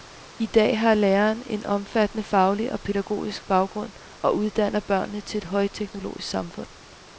I dag har læreren en omfattende faglig og pædagogisk baggrund og uddanner børnene til et højteknologisk samfund.